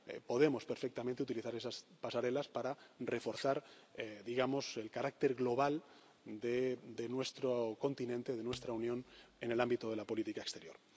Podemos perfectamente utilizar esas pasarelas para reforzar, digamos, el carácter global de nuestro continente, de nuestra Unión en el ámbito de la política exterior.